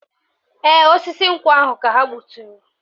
Ee, osisi nkwụ ahụ ka ha gbuturu